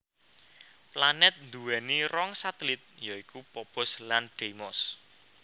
Planèt nduwèni rong satelit ya iku Phobos lan Deimos